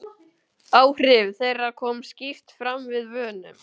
Áhrif þeirra koma skýrt fram við vönun.